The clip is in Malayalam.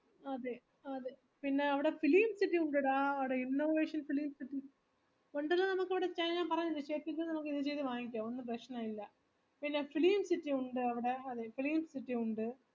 അതെ അതെ പിന്ന അവിടെ film city ഉണ്ടെടാ അവിടെ innovation film city ഉണ്ട് ഒന്നും പ്രശ്നില്ല പിന്നെ film city ഉണ്ട് film city